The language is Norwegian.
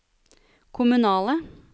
kommunale